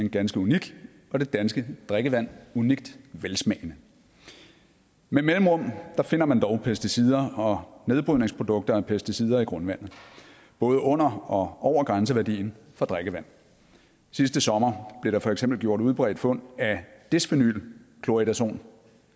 ganske unik og det danske drikkevand unikt velsmagende med mellemrum finder man dog pesticider og nedbrydningsprodukter af pesticider i grundvandet både under og over grænseværdien for drikkevand sidste sommer blev der for eksempel gjort udbredte fund af desphenyl chloridazon